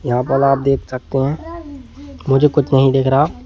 यहां पर आप देख सकते हैं मुझे कुछ नहीं दिख रहा।